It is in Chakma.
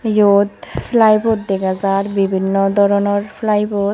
Yot flywood dega jaar bibhinno doronor Plywood.